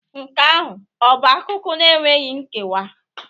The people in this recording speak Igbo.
Nke ahụ ọ bụ akụkọ enweghị nkewa?